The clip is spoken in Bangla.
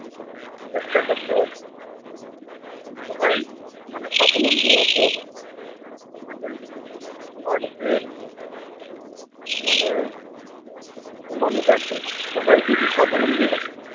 চেষ্টা করতে হবে। সবাই মানে স্বাবলম্বী হতে হবে। আমাদের বাড়িতে যে মানে কত মানুষ আছে সবাই যদি স্বাবলম্বী হয়।